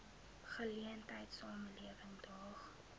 geleentheid samelewing daag